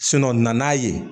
nan'a ye